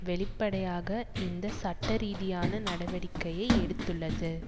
வெளிப்படையாக இந்த சட்ட ரீதியான நடவடிக்கையை எடுத்துள்ளது